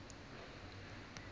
binary search tree